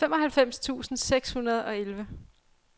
femoghalvfems tusind seks hundrede og elleve